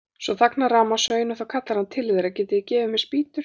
Svo þagnar rafmagnssögin og þá kallar hann til þeirra: Getið þið gefið mér spýtur?